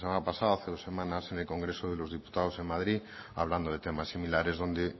la semana pasada hace dos semanas en el congreso de los diputados en madrid hablando de temas similares donde